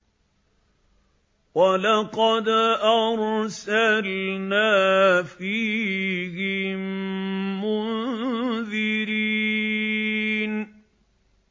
وَلَقَدْ أَرْسَلْنَا فِيهِم مُّنذِرِينَ